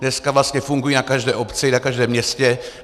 Dneska vlastně fungují na každé obci, na každém městě.